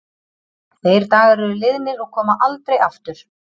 Þeir dagar eru liðnir og koma aldrei aftur.